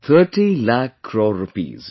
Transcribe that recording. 30 lakh crore rupees